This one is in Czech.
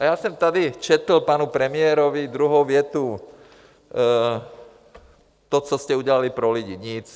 A já jsem tady četl panu premiérovi druhou větu, to, co jste udělali pro lidi - nic.